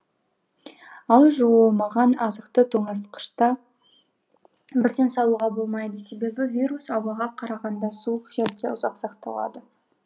ал жуылмаған азықты тоңазытқышқа бірден салуға болмайды себебі вирус ауаға қарағанда суық жерде ұзақ сақталады